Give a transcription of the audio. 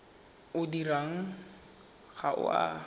o dirwang ga o a